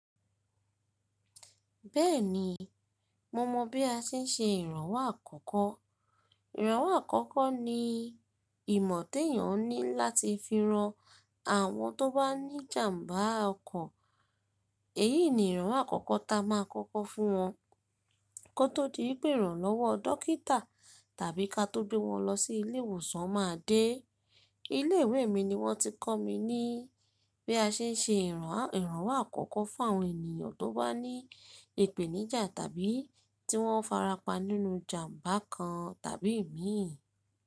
Bẹ́ẹ̀ni, mo mọ bí a ṣe ń ṣe ìrànwọ́ àkọ́kọ́. Ìrànwọ́ àkọ́kọ́ ni ìmọ̀ tí èèyàn ní láti fi ran àwọn tó bá ní jàmbá ọkọ̀. Èyí ni ìrànwọ́ àkọ́kọ́ ta a máa kọ́kọ́ fún wọn kó tó di ìpè ìrànlọ́wọ́ dókítà tàbí ká tó gbé wọn lọ sí ilé ìwòsàn máa dé. Ilé ìwé mi ni wọ́n ti kọ́ mi ní bí a ṣe ń ṣe ìrànwọ́ àkọ́kọ́ fún àwọn ènìyàn tó bá ní ìpèníjà tàbí tí wọ́n farapa nínú jàmbá kan tàbí imin.